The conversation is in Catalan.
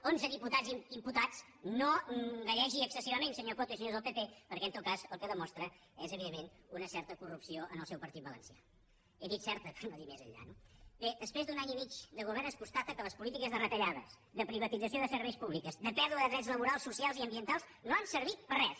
onze diputats imputats no gallegi excessivament senyor coto i senyors del pp perquè en tot cas el que demostra és evidentment una certa corrupció en el seu partit valencià he dit certa per no dir més enllà no bé després d’un any i mig de govern es constata que les polítiques de retallades de privatització de serveis públics de pèrdua de drets laborals socials i ambientals no han servit per a res